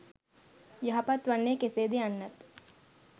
යහපත් වන්නේ කෙසේද යන්නත්